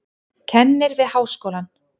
Kennir við háskólann.